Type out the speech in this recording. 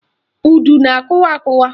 Udu na-akụwa akụwa